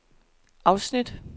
afsnit